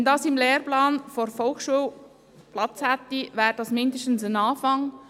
Wenn diese im Lehrplan der Volksschule Platz fände, wäre es zumindest ein Anfang.